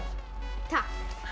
takk